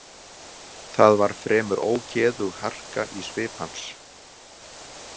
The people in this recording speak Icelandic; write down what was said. Það var fremur ógeðug harka í svip hans.